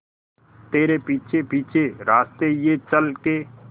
तेरे पीछे पीछे रास्ते ये चल के